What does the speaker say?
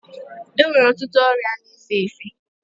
E nwere ọtụtụ ọria na-efe efe.